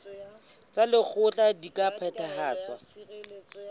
tsa lekgetho di ka phethahatswa